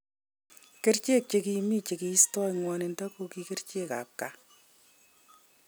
Kericheek che kimii cheistoi ngwanindo koki kerchek ab kipkaa